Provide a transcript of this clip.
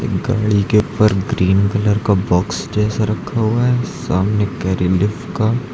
गाड़ी के ऊपर ग्रीन कलर का बॉक्स जैसा रखा हुआ है सामने करी लीफ का--